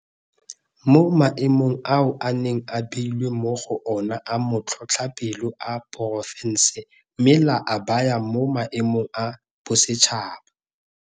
mo maemong ao e neng e beilwe mo go ona a matlhotlhapelo a porofense mme la a baya mo maemong a bosetšhaba.